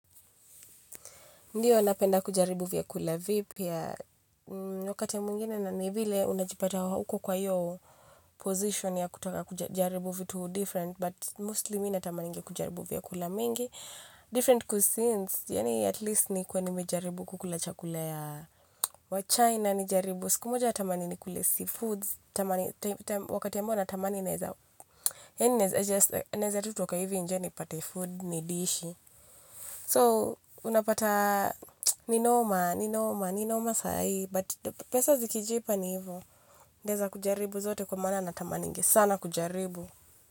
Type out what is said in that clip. Ndiyo napenda kujaribu vyakula vipya wakati mwingine na ni vile unajipata uko kwa hiyo position ya kutaka kujaribu vitu different but mostly mi tamaningi kujaribu vya kula mingi. Different cuisine, yaani at least ni kuwe nimejaribu kukula chakula ya wachaina nijaribu. Siku moja natamani ni kule sea foods, wakati ambao natamani naeza yaani I just naeza toka tu hivi nje nipate food nidishi so unapata ni noma ni noma ni noma saa hii but pesa zikijipa ni hivo. Naeza kujaribu zote kwa maana natamaningi sana kujaribu.